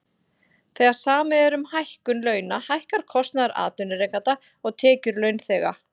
Þegar samið er um hækkun launa hækkar kostnaður atvinnurekenda og tekjur launþega.